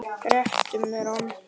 Réttu mér hana